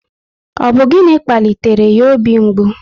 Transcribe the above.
Ọ bụ gịnị kpalitere ya obi mgbu?